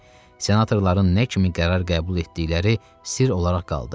Senatorların nə kimi qərar qəbul etdikləri sirr olaraq qaldı.